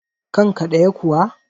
kanka ɗaya kuwa?